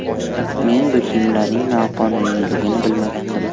Men bu kiyimlarning noqonuniyligini bilmagandim.